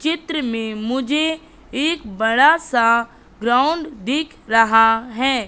चित्र में मुझे एक बड़ा सा ग्राउंड दिख रहा है।